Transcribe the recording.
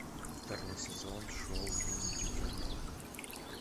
второй сезон шоу дневники темного